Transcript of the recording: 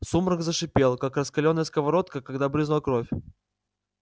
сумрак зашипел как раскалённая сковорода когда брызнула кровь